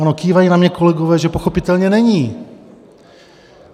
Ano, kývají na mě kolegové, že pochopitelně není.